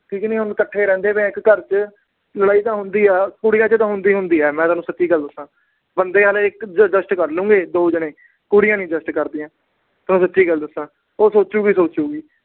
ਕਿਉਂਕਿ ਹੁਣ ਇੱਕਠੇ ਰਹਿੰਦੇ ਪਏ ਆ ਇੱਕ ਘਰ ਚ। ਲੜਾਈ ਤਾਂ ਹੁੰਦੀ ਆ, ਕੁੜੀਆਂ ਚ ਤਾਂ ਹੁੰਦੀ ਈ ਹੁੰਦੀ ਆ, ਮੈਂ ਤੋਨੂੰ ਸੱਚੀ ਗੱਲ ਦੱਸਾ। ਬੰਦੇ ਤਾਂ adjust ਕਰ ਲੈਣਗੇ ਦੋ ਜਨੇ, ਕੁੜੀਆਂ ਨੀ adjust ਕਰਦੀਆਂ। ਮੈਂ ਤੁਹਾਨੂੰ ਸੱਚੀ ਗੱਲ ਦੱਸਾਂ। ਉਹ ਸੋਚੂਗੀ ਹੀ ਸੋਚੂਗੀ।